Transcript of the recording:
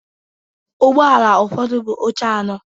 Ụgbọ ala ụfọdụ buu oche anọ.